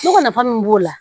Ne ko nafa min b'o la